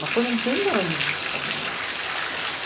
Mas foram trintaanos de descarga de lixo.